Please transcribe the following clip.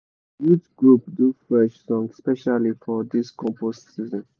the youth group do fresh song specially for this compost season.